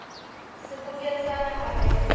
sebokeng sa naha bakeng sa